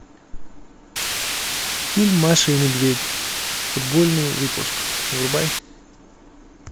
фильм маша и медведь футбольный выпуск врубай